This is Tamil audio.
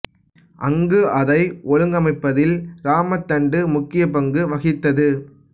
அங்கு அதை ஒழுங்கமைப்பதில் இராம தண்டு முக்கிய பங்கு வகித்தது